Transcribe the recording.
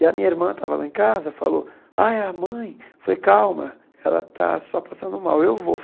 E a minha irmã estava lá em casa falou, ai, a mãe, falei calma, ela está só passando mal, eu vou.